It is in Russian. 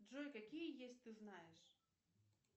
джой какие есть ты знаешь